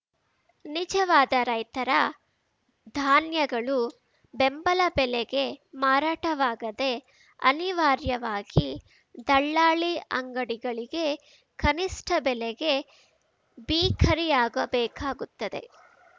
ನಿಜವಾದ ರೈತರ ಧಾನ್ಯಗಳು ಬೆಂಬಲ ಬೆಲೆಗೆ ಮಾರಾಟವಾಗದೆ ಅನಿವಾರ್ಯವಾಗಿ ದಲ್ಲಾಳಿ ಅಂಗಡಿಗಳಿಗೆ ಕನಿಷ್ಠ ಬೆಲೆಗೆ ಬಿಕಾರಿಯಾಗಬೇಕಾಗುತ್ತದೆ